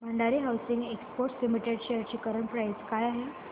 Bhandari hosiery exports limited shares ची current price काय आहे